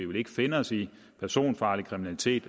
vil finde os i personfarlig kriminalitet